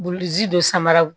Bullzi dɔ samaraw